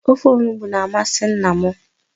Ofe onugbu na-amasị nna m.